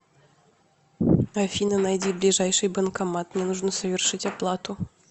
афина найди ближайший банкомат мне нужно совершить оплату